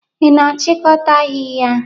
Ị na-achịkọta ahịhịa.